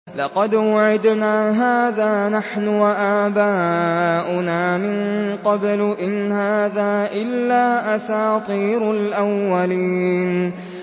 لَقَدْ وُعِدْنَا هَٰذَا نَحْنُ وَآبَاؤُنَا مِن قَبْلُ إِنْ هَٰذَا إِلَّا أَسَاطِيرُ الْأَوَّلِينَ